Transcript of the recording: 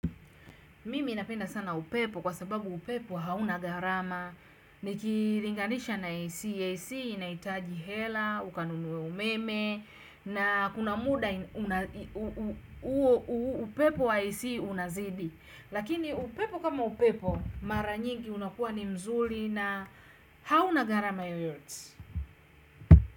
Mimi napenda sana upepo kwa sababu upepo hauna gharama nikilinganisha na AC, AC inahitaji hela, ukanunue umeme na kuna muda upepo wa AC unazidi lakini upepo kama upepo mara nyingi unakuwa ni nzuri na hauna gharama yoyote.